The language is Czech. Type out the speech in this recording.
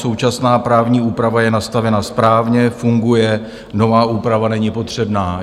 Současná právní úprava je nastavena správně, funguje, nová úprava není potřebná.